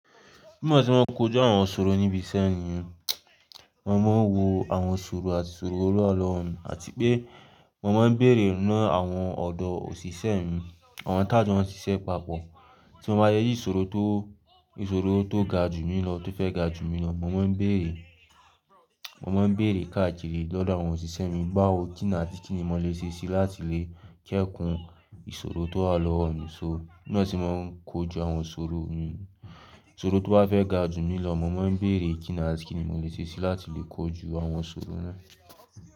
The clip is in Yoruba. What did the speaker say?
Nígbà tí wọ́n ń kojú àwọn ṣòro níbi iṣẹ́ mi, mo máa ń wo àwọn ṣòro àti ṣòro olúàlọ́ àti pé mo máa ń bèrè mọ́ àwọn ọ̀dọ́ òṣìṣẹ́ mi, àwọn tá jù wọn ṣiṣẹ́ papọ̀. Tí mo bá rí iṣòro tó, ìṣòro tó ga jù mí lọ tó fẹ́ ga jù mí lọ, mo máa ń bèrè, mo máa ń bèrè káàkiri lọ́dọ̀ àwọn òṣìṣẹ́ mi, báwo kí ni àti kíni mo lè ṣe láti lè kẹ́kùn ìṣòro tó wa lọ mi ṣọ. Beyan se maa n kojú àwọn ṣòro mi, iṣòro tó bá fẹ́ ga jù mí lọ, mo máa ń bèrè kí ni àti kíni mo lè ṣe láti lè kojú àwọn iṣòro náà.